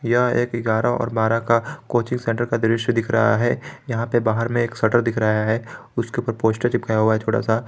यह एक ग्यारह और बारह का कोचिंग सेंटर का दृश्य दिख रहा है यहां पे बाहर में एक शटर दिख रहा है उसके ऊपर पोस्टर चिपकाया हुआ है छोटा सा।